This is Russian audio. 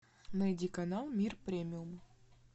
найди канал мир премиум